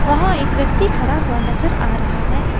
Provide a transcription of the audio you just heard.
वहां एक व्यक्ति खड़ा हुआ नजर आ रहा है।